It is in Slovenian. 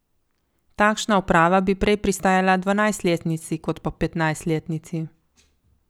Takšna oprava bi prej pristajala dvanajstletnici kot pa petnajstletnici.